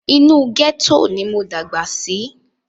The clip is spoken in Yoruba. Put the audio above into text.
Inú gẹ́tò ni mo dàgbà sí.